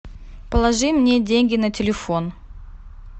положи мне деньги на телефон